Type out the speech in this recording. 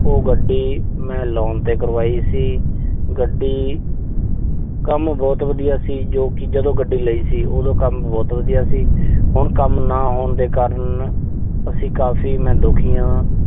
ਉਹ ਗੱਡੀ ਮੈਂ ਲੋਨ ਤੇ ਕਰਵਾਈ ਸੀ। ਗੱਡੀ ਕੰਮ ਬਹੁਤ ਵਧੀਆ ਸੀ, ਜੋ ਕਿ ਜਦੋਂ ਗੱਡੀ ਲਈ ਸੀ, ਉਦੋਂ ਕੰਮ ਬਹੁਤ ਵਧੀਆ ਸੀ। ਹੁਣ ਕੰਮ ਨਾ ਹੋਣ ਦੇ ਕਾਰਨ ਅਸੀਂ ਕਾਫ਼ੀ ਮੈਂ ਦੁਖੀ ਆਂ।